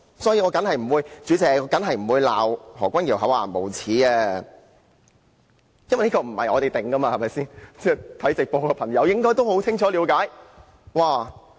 代理主席，我當然不會罵何君堯議員厚顏無耻，因為這不是由我們定奪的，有收看直播的朋友應該清楚了解。